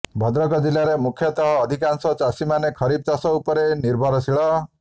ଭଦ୍ରକ ଜିଲ୍ଲାରେ ମୁଖ୍ୟତଃ ଅଧିକାଂଶ ଚାଷୀମାନେ ଖରିଫ ଚାଷ ଉପରେ ନିର୍ଭରଶୀଳ